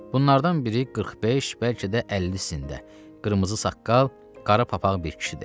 Bunlardan biri 45, bəlkə də 50-sində, qırmızı saqqal, qara papaq bir kişidir.